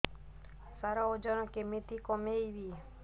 ସାର ଓଜନ କେମିତି କମେଇବି